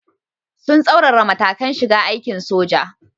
Sun tsaurara matakan shiga aikin soja.